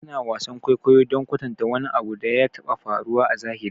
Ana wasan kwaikwayo don kwatanta wani abu da ya taɓa faruwa a zahiri